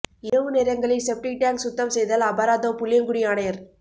இரவு நேரங்களில் septic tank சுத்தம் செய்தால் அபராதம் புளியங்குடி ஆணையா்